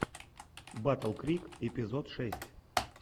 батл крик эпизод шесть